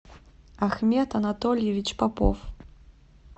ахмед анатольевич попов